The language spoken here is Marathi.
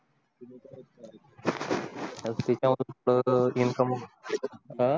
करतो अ